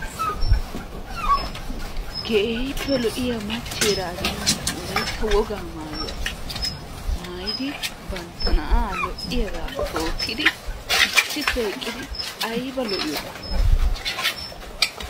Keehippe lo'iya machcheera azinaara wolaytta wogaa maayuwa maayidi, bantta na'aa lo'iyagaa tookkidi issippe eqqidi aybba lo'iyoonaa.